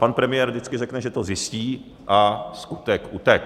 Pan premiér vždycky řekne, že to zjistí, a skutek utekl.